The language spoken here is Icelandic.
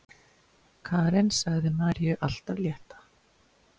Karen sagði Maríu allt af létta.